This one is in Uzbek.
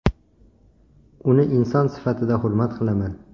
Uni inson sifatida hurmat qilaman.